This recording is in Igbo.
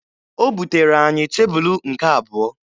O butere anyị tebulu nke abụọ